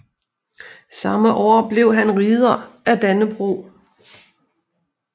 Samme år blev han Ridder af Dannebrog